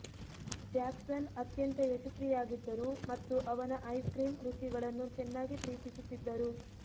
Jackson ಅತ್ಯಂತ ಯಶಸ್ವಿಯಾಗಿದ್ದರು ಮತ್ತು ಅವನ ಐಸ್ಕ್ರೀಮ್ ರುಚಿಗಳನ್ನು ಚೆನ್ನಾಗಿ ಪ್ರೀತಿಸುತ್ತಿದ್ದರು